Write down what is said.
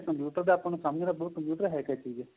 computer ਦਾ ਆਪਾਂ ਸਮਝਣਾ ਪਹੁਓ computer ਏਹ ਕਿ ਚੀਜ